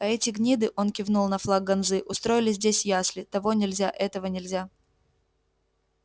а эти гниды он кивнул на флаг ганзы устроили здесь ясли того нельзя этого нельзя